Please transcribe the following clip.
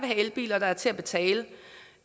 have elbiler der er til at betale